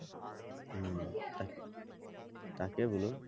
তাকে বোলো